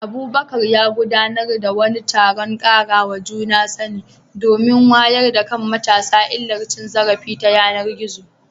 Abubakar ya gudanar da wani taron ƙarawa juna sani domin wayar da kan matasa illar cin zarafi ta yanar gizo.